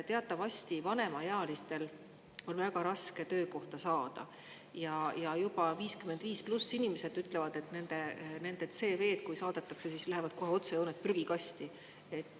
Teatavasti vanemaealistel on väga raske töökohta saada ja juba 55+ inimesed ütlevad, et nende CV-d, kui saadetakse, siis lähevad kohe otsejoones prügikasti.